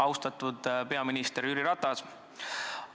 Austatud peaminister Jüri Ratas!